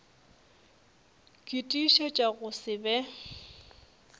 ke tiišetša go se be